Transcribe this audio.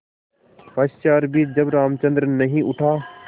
पश्चार भी जब रामचंद्र नहीं उठा